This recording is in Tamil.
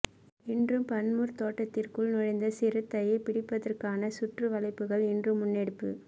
இன்றும் பன்மூர் தோட்டத்திற்குள் நுழைந்த சிறுத்தையை பிடிப்பதற்கான சுற்றுவளைப்புகள் இன்றும் முன்னெடுப்பு